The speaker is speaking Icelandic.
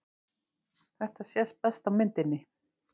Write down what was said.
Þetta sést best á myndinni.